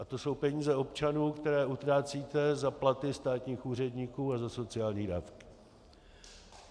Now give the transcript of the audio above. A to jsou peníze občanů, které utrácíte za platy státních úředníků a za sociální dávky.